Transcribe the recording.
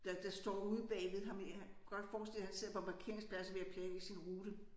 Der der står ude bagved ham i han godt forestille mig han sidder på parkeringspladsen og ved at planlægge sin rute